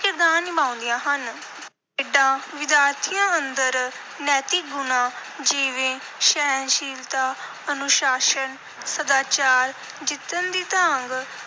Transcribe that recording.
ਕਿਰਦਾਰ ਨਿਭਾਉਂਦੀਆਂ ਹਨ। ਖੇਡਾਂ ਵਿਦਿਆਰਥੀਆਂ ਅੰਦਰ ਨੈਤਿਕ ਗੁਣਾਂ, ਜਿਵੇਂ ਸਹਿਣਸ਼ੀਲਤਾ, ਅਨੁਸ਼ਾਸਨ, ਸਦਾਚਾਰ, ਜਿੱਤਣ ਦੀ ਤਾਂਘ,